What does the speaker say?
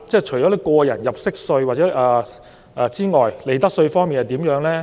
除了個人入息課稅外，利得稅方面又怎樣呢？